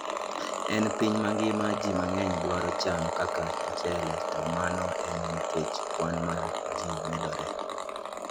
E piny mangima, ji mang'eny dwaro cham kaka mchele, to mano en nikech kwan mar ji medore.